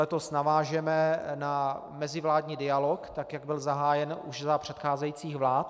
Letos navážeme na mezivládní dialog, tak jak byl zahájen už za předcházejících vlád.